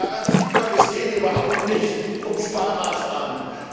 Daran sieht man, es geht überhaupt nicht um Sparmaßnahmen.